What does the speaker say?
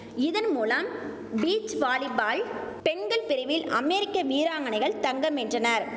இதன் மூலம் beach volleyball பெண்கள் பிரிவில் அமேரிக்க வீராங்கனைகள் தங்கம் வென்றனர்